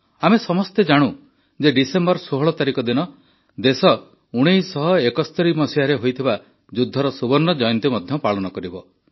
ଆମ ସମସ୍ତେ ଜାଣୁ ଯେ ଡିସେମ୍ବର ୧୬ ତାରିଖ ଦିନ ଦେଶ ୧୯୭୧ରେ ହୋଇଥିବା ଯୁଦ୍ଧର ସୁବର୍ଣ୍ଣ ଜୟନ୍ତୀ ମଧ୍ୟ ପାଳନ କରିବ